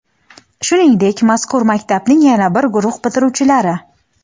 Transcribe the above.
Shuningdek, mazkur maktabning yana bir guruh bitiruvchilari:.